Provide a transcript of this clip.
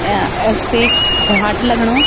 अ ऐख त इख घाट लगणु।